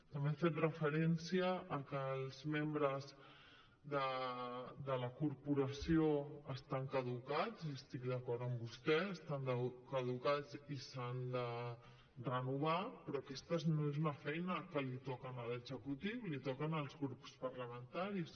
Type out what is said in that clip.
també ha fet referència a que els membres de la corporació estan caducats i estic d’acord amb vostè estan caducats i s’han de renovar però aquesta no és una feina que li toca a l’executiu li toca als grups parlamentaris